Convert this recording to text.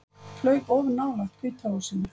Flaug of nálægt Hvíta húsinu